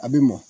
A bɛ mɔ